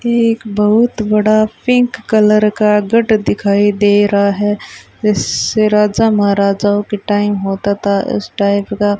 ये एक बहुत बड़ा पिंक कलर का गेट दिखाई दे रहा है जैसे राजा महाराजाओं के टाइम होता था इस टाइप का।